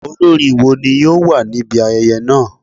Olorin wo ni yoo wa nibi ayẹyẹ naa?